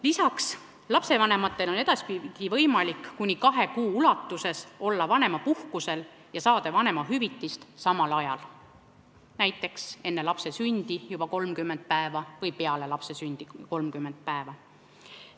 Lisaks on lastevanematel edaspidi võimalik olla kuni kahe kuu jooksul vanemapuhkusel ja saada samal ajal vanemahüvitist, näiteks enne lapse sündi 30 päeva või peale lapse sündi 30 päeva.